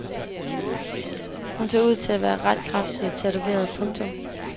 Hun ser ud til at være ret kraftigt tatoveret. punktum